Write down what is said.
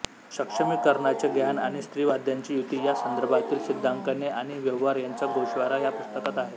सक्षमिकरणाचे ज्ञान आणि स्त्रीवाद्यांची युती या संदर्भातील सिद्धांकने आणि व्यवहार यांचा गोषवारा या पुस्तकात आहे